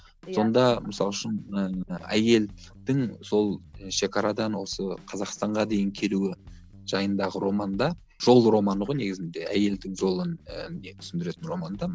иә сонда мысалы үшін ыыы әйелдің сол шекарадан осы қазақстанға дейін келуі жайындағы роман да жол романы ғой негізінде әйелдің жолын ііі түсіндіретін роман да